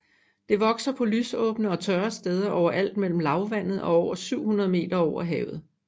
Det vokser på lysåbne og tørre steder overalt mellem lavlandet og 700 m over havet